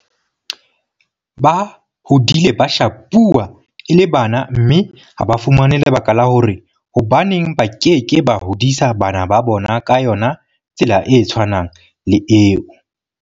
Ba hodile ba shapuwa e le bana mme ha ba fumane lebaka la hore hobaneng ba ke ke ba hodisa bana ba bona ka yona tsela e tshwanang le eo.